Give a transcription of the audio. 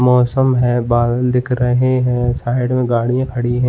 मौसम है बादल दिख रहे हैं साइड में गाड़ियां खड़ी हैं।